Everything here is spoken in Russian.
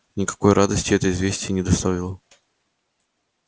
никакой радости это известие не доставило